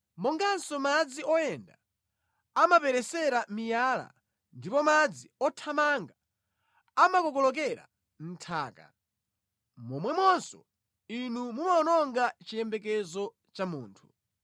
monganso madzi oyenda amaperesera miyala ndipo madzi othamanga amakokololera nthaka, momwemonso Inu mumawononga chiyembekezo cha munthu.